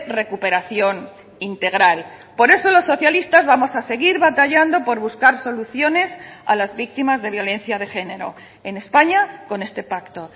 recuperación integral por eso los socialistas vamos a seguir batallando por buscar soluciones a las víctimas de violencia de género en españa con este pacto